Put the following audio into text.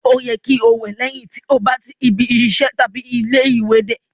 Ó yẹ kí o wẹ lẹ́yìn tí ó bá tí ibi iṣẹ tàbí ilé-ìwé dé